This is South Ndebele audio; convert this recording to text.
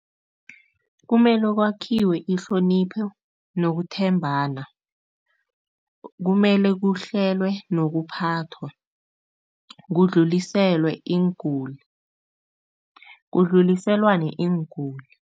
Kumele kwakhiwe ihlonipho nokuthembana. Kumele kuhlelwe nokuphathwa, kudluliselwe iinguli, kudluliselwane iinguli.